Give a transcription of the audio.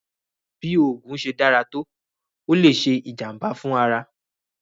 Bí oògùn ṣe dára tó, ó le ṣe ìjàm̀bá fún ara.